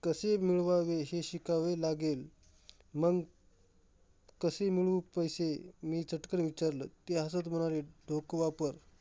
कसे मिळवावे? हे शिकावे लागेल मंग, कसे मिळवू पैसे? मी चटकन विचारलं, ते हसत म्हणाले डोकं वापर.